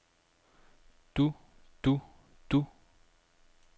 du du du